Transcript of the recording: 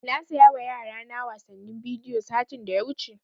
Na saya wa yara na wasannin bidiyo satin da ya wuce